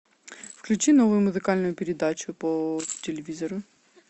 включи новую музыкальную передачу по телевизору